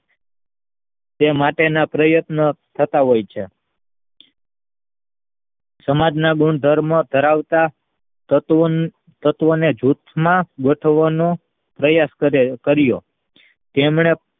તે માટેના પ્રયત્નો થતા હોય છે સમાજના ગુણધર્મો કરાવતા તત્વને જૂથમાં ગોઠવણો પ્રયાસ કર્યો તેમને